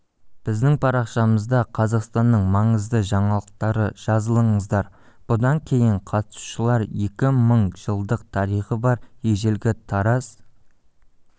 біздің парақшамызда қазақстанның маңызды жаңалықтары жазылыңыздар бұдан кейін қатысушылар екі мың жылдық тарихы бар ежелгі тараз